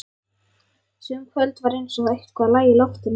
Sum kvöld var eins og eitthvað lægi í loftinu.